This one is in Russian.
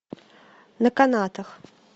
на канатах